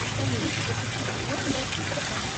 салют запусти подъем в восемь часов